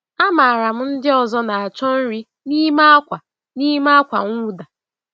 Amaara m ndị ọzọ na-achọ nri n’ime ákwà n’ime ákwà mwụda.